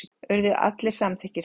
Urðu allir samþykkir því.